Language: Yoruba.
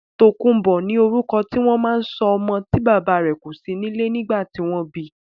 Tòkunbó ni orúkọ tí wọ́n ma ń sọ ọmọ tí bàbá rè kò sí nílé nìgbà tí wọ́n bi